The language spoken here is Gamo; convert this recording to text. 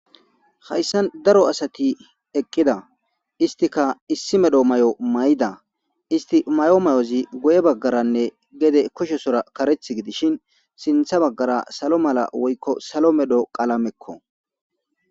Haysan daro asati eqida istika issi medho mayo mayida isti mayo mayozi guye bagaranne gede kushesora karethi gidishin sintha bagara salo mala eoylo salo medho qalameko